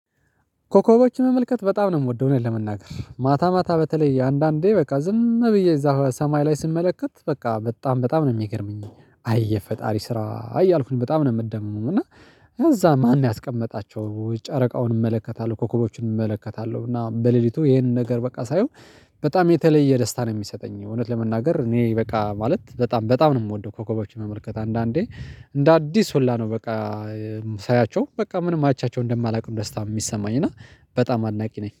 ኮከቦችን መመልከት በጣም ነው የምወደው ነው እዉነት ለመናገር ማታ ማታ በተለይ አንዳንዴ በቃ ዝም ብዬ እዛ ሰማይ ላይ ስመለከት በቃ በጣም በጣም ነው የሚገርመኝ አይ የፈጣሪ ስራ እየ አልኩኝ በጣም ነው የምደምመው እና። ከዛ ማን ያስቀመጣቸው ጨረቃውን እመለከታለሁ ኮከቦችን እመለከታለሁ እና በሌሊቱ ይሄንን ነገር በቃ ሳየው። በጣም የተለየ ደስታ ነው የሚሰጠኝ አዉነት ለመናገር እኔ በቃ ማለት በጣም በጣም ነው የምወደው። ኮኮቦችን መመልከት አንዳንዴ እንደ አዲስ ሁላ ነው በቃ። ሳያቸው በቃ ምንም አይቻቸው እንደማላውቅ ደስታ የሚሰማኝ እና በጣም አድናቂ ነኝ